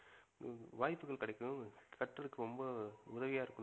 வாய்ப்புகள் கிடைக்கும் கட்டறதுக்கு ரொம்ப உதவியா இருக்கும்